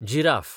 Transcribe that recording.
giraffe